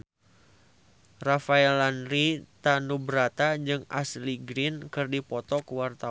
Rafael Landry Tanubrata jeung Ashley Greene keur dipoto ku wartawan